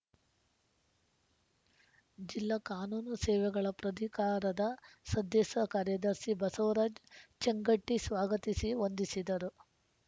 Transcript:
ಜಿಲ್ಲಾ ಕಾನೂನು ಸೇವೆಗಳ ಪ್ರಾಧಿಕಾರದ ಸದ್ದಸ್ಯ ಕಾರ್ಯದರ್ಶಿ ಬಸವರಾಜ್‌ ಚೇಂಗಟಿ ಸ್ವಾಗತಿಸಿ ವಂದಿಸಿದರು